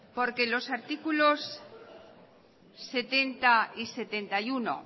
porque los artículos setenta y setenta y uno